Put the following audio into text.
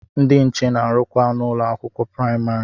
Ndị nche na-arụkwa n'ụlọ akwụkwọ praimari.